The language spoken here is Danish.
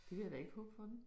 Det vil jeg da ikke håbe for den